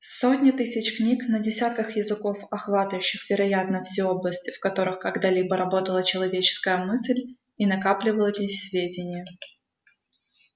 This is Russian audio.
сотни тысяч книг на десятках языков охватывающих вероятно все области в которых когда-либо работала человеческая мысль и накапливались сведения